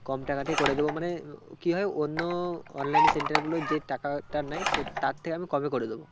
কম টাকাতে করে দেব মানে কি হয় অন্য online এ center গুলো যে টাকাটা নেয় সেই তার থেকে আমি কমে করে দেব